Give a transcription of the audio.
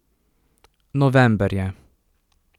November je.